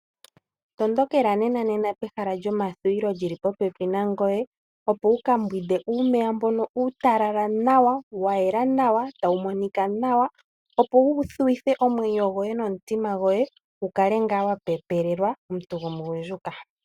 Matukila nema pehala lyomathuwilo lili popepi nangoye opo wuka mbwinde uumeya mbono uutalala nawa, wayela nawa, tawu monika nawa opo wu thuwithe omwenyo goye nomutima goye wukale ngaa wa pepelelwa omuntu gomugundjuka.